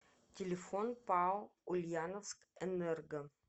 телефон пао ульяновскэнерго